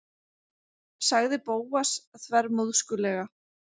sagði Bóas þvermóðskulega.